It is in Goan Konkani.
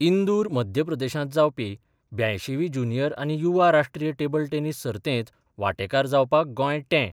इंदूर मध्य प्रदेशांत जावपी ब्यांयशी वी ज्युनियर आनी युवा राष्ट्रीय टेबल टॅनीस सर्तीत वांटेकार जावपाक गोंय टे.